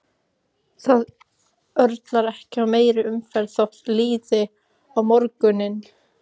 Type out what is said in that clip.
Það örlar ekki á meiri umferð þótt líði á morguninn.